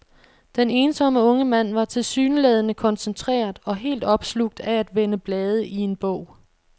Den ensomme unge mand var tilsyneladende koncentreret og helt opslugt af at vende blade i en bog.